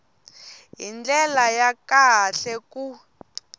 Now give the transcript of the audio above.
hi ndlela ya kahle ku